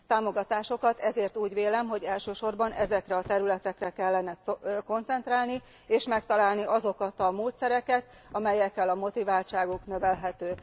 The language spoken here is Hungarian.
Támogatásukat ezért úgy vélem, hogy elsősorban ezekre a területekre kellene koncentrálni, és meg kellene találni azokat a módszereket, amelyekkel a motiváltságuk növelhető.